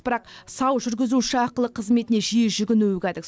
бірақ сау жүргізуші ақылы қызметіне жиі жүгінуі кәдік